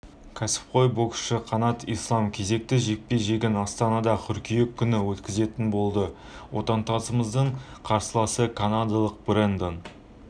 кәсіпқой боксшы қанат ислам кезекті жекпе-жегін астанада қыркүйек күні өткізетін болды отандасымыздың қарсыласы канадалық брэндон